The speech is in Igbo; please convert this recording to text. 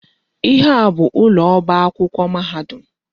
Ihe a bụ ụlọ ọba akwụkwọ mahadum.